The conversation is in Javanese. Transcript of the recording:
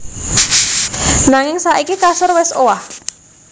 Nanging saiki kasur wis owah